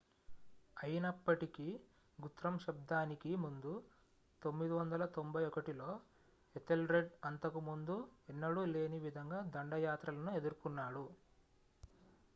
అయినప్పటికీ గుత్రమ్ శతాబ్దానికి ముందు 991లో ఎథెల్రెడ్ అంతకు ముందు ఎన్నడూ లేని విధంగా దండయాత్రలను ఎదురుకున్నాడు